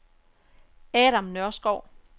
Adam Nørskov